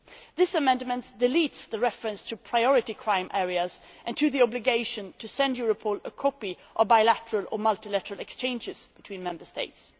This amendment deletes the reference to priority crime areas and the obligation to send Europol a copy of bilateral or multilateral exchanges between Member States.